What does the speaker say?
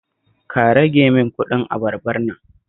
Ka rage min kuɗin abarbar nan